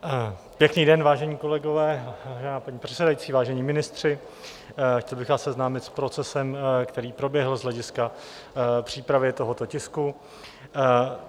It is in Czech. Pěkný den, vážení kolegové, paní předsedající, vážení ministři, chtěl bych vás seznámit s procesem, který proběhl z hlediska přípravy tohoto tisku.